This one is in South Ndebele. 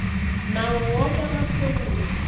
nawo woke amasewula